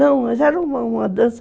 Não, mas era uma dança.